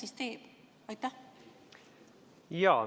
Mis ta siis teeb?